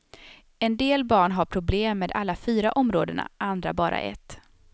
En del barn har problem med alla fyra områdena, andra bara ett.